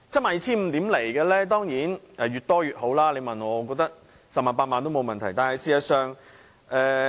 賠償額當然越高越好，你問我，我認為 100,000 元、80,000 元都沒問題。